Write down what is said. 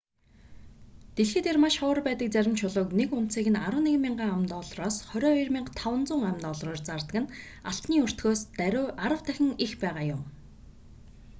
дэлхий дээр маш ховор байдаг зарим чулууг нэг унцыг нь 11,000 ам.доллараас 22,500 ам.доллараар зардаг нь алтны өртгөөс даруй арав дахин их байгаа юм